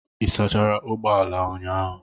Ị sachara ụgbọ ala ụnyahụ?